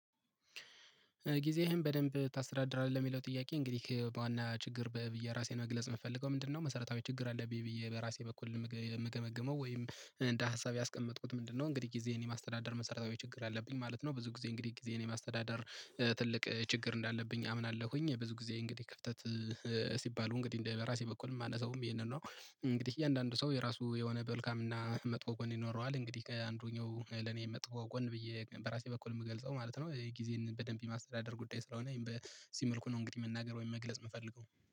ጊዜህን በደንብ ታስተዳድራለህ የሚለው ጥያቄ እንግዲህ በዋና ችግር በየራሴን መግለጽ የምፈልገው ምንድነው? መሰረታዊ ችግር አለብኝ ብዬ በራሴ በኩል የምገመግመው ወይም እንደ ሀሳብ ያስቀመጥኩት ምንድነው? እንግዲህ ጊዜዬን የማስተዳደር መሰረታዊ ችግር አለብኝ ማለት ነው። ብዙ ጊዜ እንግዲህ ጊዜን የማስተዳደር ትልቅ ችግር እንዳለብኝ አምናለሁኝ። ብዙ ጊዜ እንግዲህ ክፍተት ሲባሉ እንግዲህ እንደ በራሴ በኩል የማነሳውም ይሄንን ነው። እንግዲህ እያንዳንዱ ሰው የራሱ የሆነ መልካም እና መጥፎ ጎን ይኖረዋል። እንግዲህ አንዱኛው ለኔ መጥፎ ጎን ብዬ በራሴ በኩል የምገልጸው ማለት ነው። የጊዜን በደንብ የማስተዳደር ጉዳይ ስለሆነ ይሄን በዚህ መልኩ ነው እንግዲህ መናገር ወይም መግለጽ የምፈልገው